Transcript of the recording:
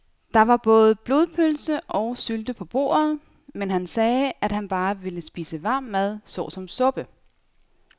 Der var både blodpølse og sylte på bordet, men han sagde, at han bare ville spise varm mad såsom suppe.